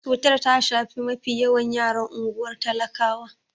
Cutar ta shafi mafi yawan yaran unguwar talakawan.